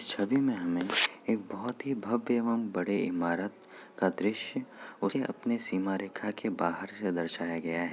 इस छबि में हमें एक बहुत ही भव्य एवं बड़े इमारत का दृश्य उसे अपनी सीमा रेखा के बाहर से दर्शाया गया है।